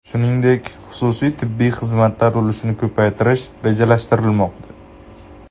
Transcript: Shuningdek, xususiy tibbiy xizmatlar ulushini ko‘paytirish rejalashtirilmoqda.